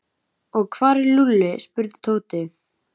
Og hvar er Lúlli? spurði Tóti.